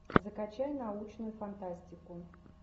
закачай научную фантастику